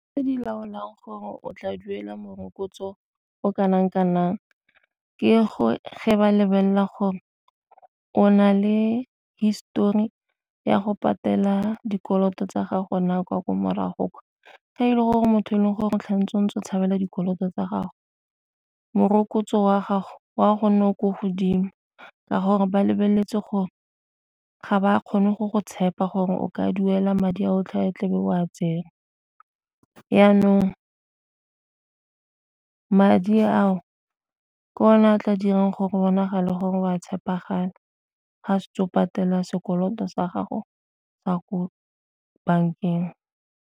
Tse di laolang gore o tla duela morokotso o kanang kanang ke go fa ba lebelela gore o na le histori ya go patela dikoloto tsa gago na kwa morago kwa, fa e le gore motho e leng gore o tlholo o ntse o tshabela dikoloto tsa gago morokotso wa gago o a go nna o ko godimo ka gore ba lebeletse gore ga ba kgone go go tshepa gore o ka duela madi a otlhe tlebe o a tsere. Janong madi a o ke one a tla dirang gore bonagala gore wa tshepagala ga setse o patela sekoloto sa gago sa ko bankeng.